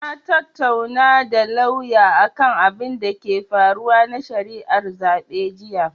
Na tattaunawa da lauyan akan abinda ke faruwa na shari'ar zaɓe jiya.